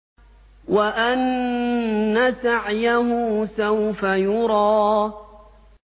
وَأَنَّ سَعْيَهُ سَوْفَ يُرَىٰ